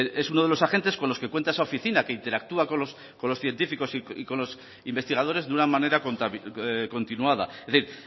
es uno de los agentes con los que cuenta esa oficina que interactúa con los científicos y con los investigadores de una manera continuada es decir